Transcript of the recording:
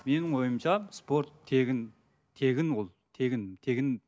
менің ойымша спорт тегін тегін ол тегін тегін